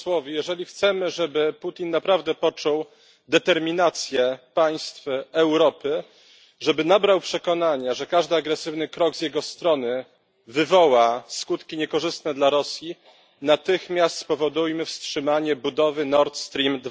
Jeżeli chcemy, aby Putin naprawdę poczuł determinację państw Europy, aby nabrał przekonania, że każdy agresywny krok z jego strony wywoła skutki niekorzystne dla Rosji, natychmiast spowodujmy wstrzymanie budowy Nord Stream